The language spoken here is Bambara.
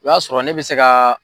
I b'a sɔrɔ ne bɛ se ka